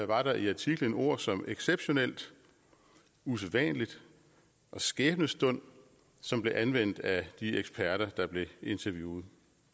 var der i artiklen ord som exceptionelt usædvanligt og skæbnestund som blev anvendt af de eksperter der blev interviewet